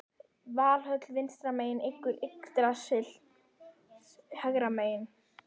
Valhöll vinstra megin, askur Yggdrasils hægra megin.